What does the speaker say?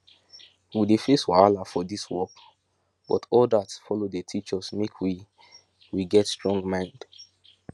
we dey face wahala for dis work but all dat follow dey teach us make we we get strong mind